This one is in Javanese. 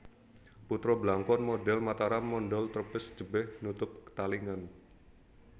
Putra Blangkon modhel Mataram mondhol trepes jebeh nutup talingan